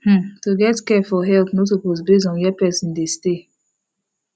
hmm to get care for health no suppose base on where person dey stay